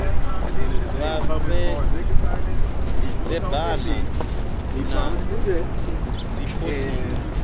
vha vhee dzibena na dziphosita